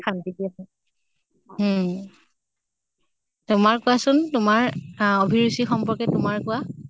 শান্তি দিয়ে উম তোমাৰ কোৱাচোন তোমাৰ আহ অভিৰুচি সম্পৰ্কে তোমাৰ কোৱা।